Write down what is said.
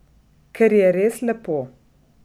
Ker je res lepo.